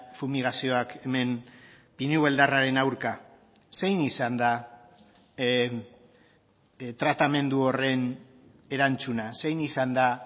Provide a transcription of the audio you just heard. fumigazioak hemen pinu beldarraren aurka zein izan da tratamendu horren erantzuna zein izan da